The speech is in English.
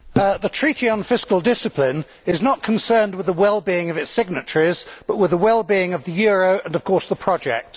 Mr President, the Treaty on Fiscal Discipline is not concerned with the wellbeing of its signatories, but with the wellbeing of the euro and, of course, the project.